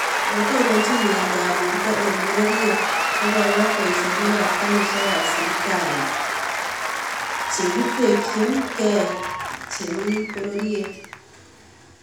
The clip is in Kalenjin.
Netononchin myeindaab borto eng bororyet kokong�aat boisyonikaab karisiekaab sibitali chekitetyinkee chemi bororyet